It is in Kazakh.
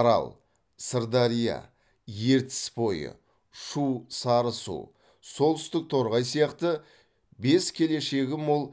арал сырдария ертіс бойы шу сарысу солтүстік торғай сияқты бес келешегі мол